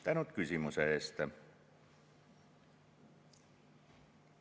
Tänan küsimuse eest!